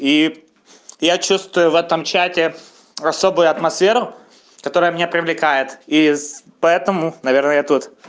и я чувствую в этом чате особую атмосферу которая меня привлекает из поэтому наверное я тут